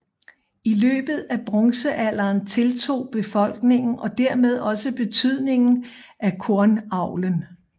I løbet af bronzealderen tiltog befolkningen og dermed også betydningen af kornavlen